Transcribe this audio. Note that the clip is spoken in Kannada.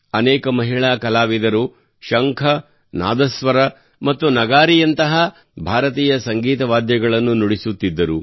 ಅನೇಕ ಮಹಿಳಾ ಕಲಾವಿದರು ಶಂಖ ನಾದಸ್ವರ ಮತ್ತು ನಾಗದಾ ದಂತಹ ಭಾರತೀಯ ಸಂಗೀತ ವಾದ್ಯಗಳನ್ನು ನುಡಿಸುತ್ತಿದ್ದರು